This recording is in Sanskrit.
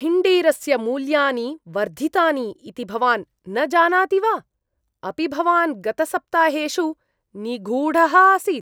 हिण्डीरस्य मूल्यानि वर्धितानि इति भवान् न जानाति वा? अपि भवान् गतसप्ताहेषु निगूढः आसीत्?